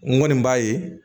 N kɔni b'a ye